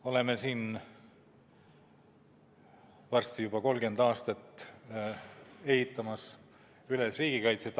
Oleme varsti juba 30 aastat ehitanud üles riigikaitset.